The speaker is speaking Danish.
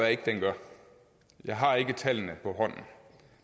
ikke den gør jeg har ikke tallene på hånden